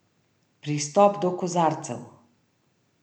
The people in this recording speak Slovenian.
Pristop do kozarcev.